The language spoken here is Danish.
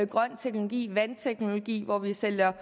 grøn teknologi vandteknologi hvor vi sælger